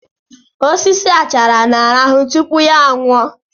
Osisi achara na-arahụ tupu ya nwụọ